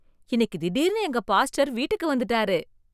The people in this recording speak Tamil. இன்னைக்கு திடீர்னு எங்க பாஸ்டர் வீட்டுக்கு வந்துட்டாரு!